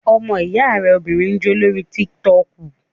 Ọmọ ìyá rẹ obìnrin ń jó lórí tík-tọkù